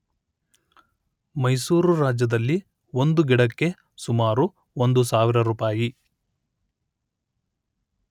ಮೈಸೂರು ರಾಜ್ಯದಲ್ಲಿ ಒಂದು ಗಿಡಕ್ಕೆ ಸುಮಾರು ಒಂದು ಸಾವಿರ ರುಪಾಯಿ